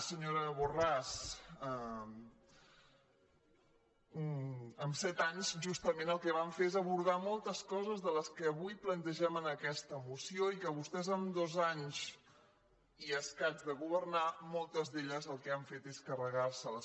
senyora borràs en set anys justament el que vam fer és abordar moltes coses de les que avui plantegem en aquesta moció i que vostès en dos anys i escaig de governar moltes d’elles el que han fet és carregar se les